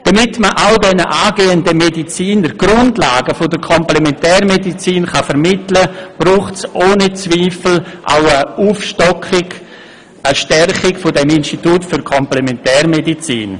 Damit man all diesen angehenden Medizinern die Grundlagen der Komplementärmedizin vermitteln kann, braucht es ohne Zweifel auch eine Aufstockung und eine Stärkung des Instituts für Komplementärmedizin.